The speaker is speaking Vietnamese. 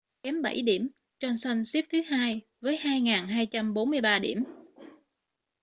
kém bảy điểm johnson xếp thứ hai với 2.243 điểm